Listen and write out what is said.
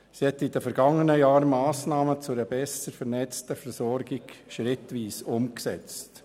Sie hat in den vergangenen Jahren Massnahmen zu einer besser vernetzten Versorgung schrittweise umgesetzt.